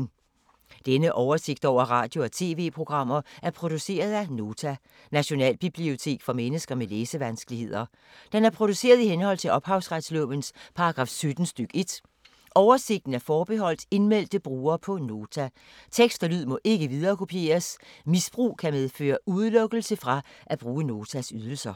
Denne oversigt over radio og TV-programmer er produceret af Nota, Nationalbibliotek for mennesker med læsevanskeligheder. Den er produceret i henhold til ophavsretslovens paragraf 17 stk. 1. Oversigten er forbeholdt indmeldte brugere på Nota. Tekst og lyd må ikke viderekopieres. Misbrug kan medføre udelukkelse fra at bruge Notas ydelser.